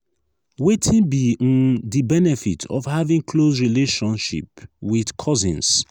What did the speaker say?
wetin be um di benefit of having close relationship with cousins?